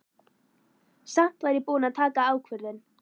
Samt var ég búin að taka ákvörðun.